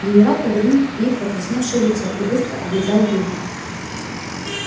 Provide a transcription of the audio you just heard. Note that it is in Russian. генерал повернул к ней покрасневшее лицо и быстро облизал губы